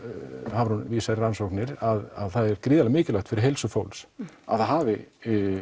Hafrún vísar í rannsóknir að það er gríðarlega mikilvægt fyrir heilsu fólks að það hafi